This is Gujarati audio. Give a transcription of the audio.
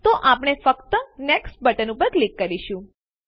તો આપણે ફક્ત નેક્સ્ટ બટન ઉપર ક્લિક કરીશું